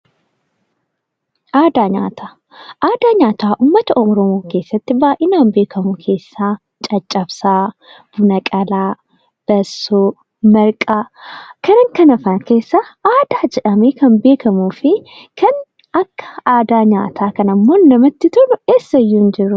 Aadaa nyaataa, aadaan nyaataa uummata Oromoo birratti baay'inanaan beekkamu keessaa cacabsaa, buna qalaa, bassoo, marqaa fi kan kana fakkaatan aadaa jedhamee kan beekkamu fi kan akka aadaa nyaataa kanaa namatti tolu eessayyuu hin jiru.